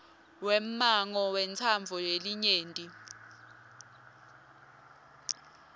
wemmango wentsandvo yelinyenti